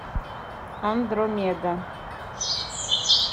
андромеда